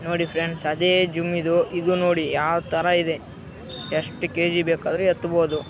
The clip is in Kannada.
ನೋಡಿ ಫ್ರೆಂಡ್ಸ್‌ ಅದೇ ಜಿಮ್‌ ಇದು. ನೋಡಿ ಯಾವ ತರ ಇದೆ ಎಷ್ಟು ಕೆ.ಜಿ. ಬೇಕಾದರೂ ಎತ್ತ್ ಬೋದು.